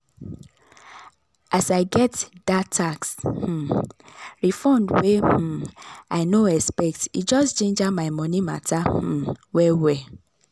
as i get that tax um refund wey um i no expect e just ginger my money matter um well-well.